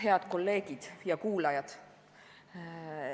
Head kolleegid ja kuulajad!